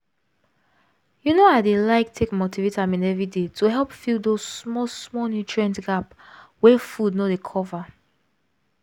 you know i dey like take multivitamin every day to help fill those small-small nutrient gap wey food no dey cover